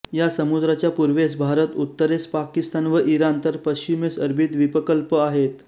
या समुद्राच्या पूर्वेस भारत उत्तरेस पाकिस्तान व इराण तर पश्चिमेस अरबी द्वीपकल्प आहेत